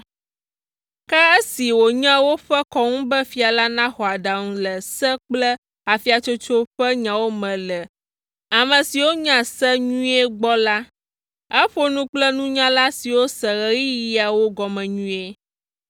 Ke asi wònye woƒe kɔnu be fia la naxɔ aɖaŋu le se kple afiatsotso ƒe nyawo me le ame siwo nya se nyuie gbɔ la, eƒo nu kple nunyala siwo se ɣeyiɣiawo gɔme nyuie.